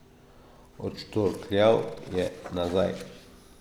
Odštorkljal je nazaj.